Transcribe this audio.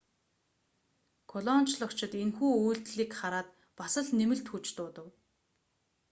колончлогчид энэхүү үйлдэлийг хараад бас л нэмэлт хүч дуудав